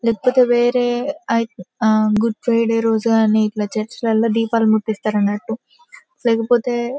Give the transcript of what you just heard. లేకపోతె వేరేయ్ ఐ ఆ గుడ్ ఫ్రైడే రోజు కానీ ఇట్లా చర్చి లలో దీపాలు ముట్టిస్తారన్నట్టు లేకపోతె--